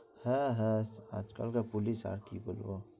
হ্যাঁ হ্যাঁ আজকাল কর পুলিশ আরকি দেখবো